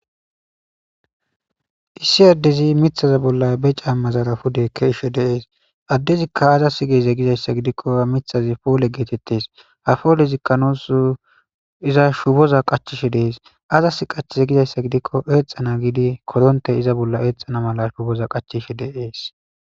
Issi addezi mithaza bolla be caammazarafudeekke ishe deees addezikka aza si geze gizayssa gidikko mithazi poole geetettes hafoole zikkanos iza shuboza qachishe dees azas qachze gizayssa gidikko eexana giidi koronte iza bolla eexxana mala shuboza qachishe deees